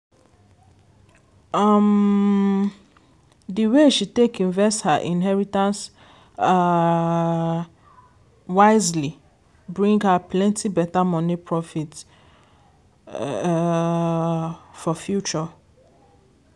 um di way she take invest her inheritance um wisely bring her plenty better money profit um for future.